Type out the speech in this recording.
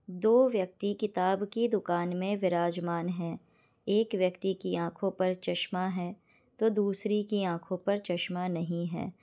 दो व्यक्ति किताब की दुकान में विराजमान है एक व्यक्ति की आँखों पर चस्मा है तो दूसरी की आँखों पर चस्मा नहीं है।